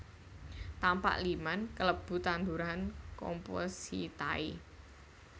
Tapak liman kalebu tanduran compositae